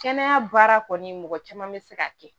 Kɛnɛya baara kɔni mɔgɔ caman bɛ se ka kɛ